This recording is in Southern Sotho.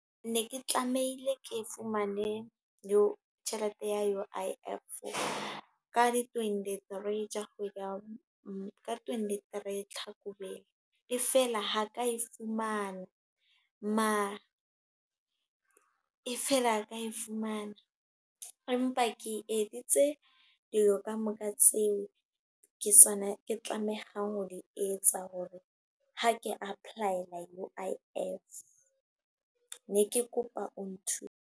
Ne ke tlamehile ke fumane yo tjhelete ya U_I_F. Ka di twenty-three tsa kgwedi ya ka twenty-three Hlakubele. E feela ha ka e fumana, mara e feela ka e fumana. Empa ke editse dilo kamoka tseo ke tsona ke tlamehang ho di etsa. Hore ha ke apply-ela U_I_F, ne ke kopa o nthuse.